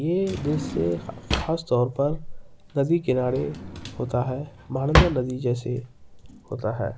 ये दृश्य खास तौर पर नदी किनारे होता है महानंदा नदी जैसे होता है।